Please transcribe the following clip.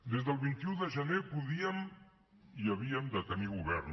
des del vint un de gener podíem i havíem de tenir govern